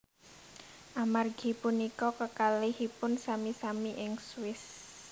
Amargi punika kekalihipun sami sami ing Swiss